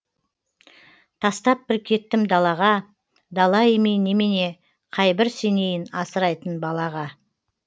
тастап бір кеттім далаға дала емей немене қайбір сенейін асырайтын балаға